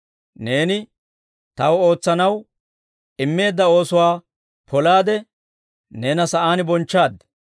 Neeni Taw ootsanaw immeedda oosuwaa polaade, neena sa'aan bonchchaad.